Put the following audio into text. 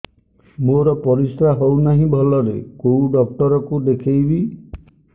ମୋର ପରିଶ୍ରା ହଉନାହିଁ ଭଲରେ କୋଉ ଡକ୍ଟର କୁ ଦେଖେଇବି